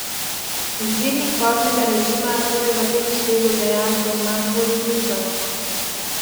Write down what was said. Izbirnik voznega režima torej v tem Švedu dejansko ima svoj smisel!